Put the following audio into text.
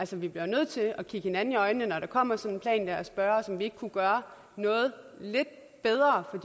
vi bliver nødt til at kigge hinanden i øjnene når der kommer sådan en plan og spørge om vi ikke kunne gøre noget lidt bedre for